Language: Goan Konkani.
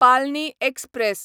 पालनी एक्सप्रॅस